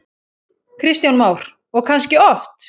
Kristján Már: Og kannski oft?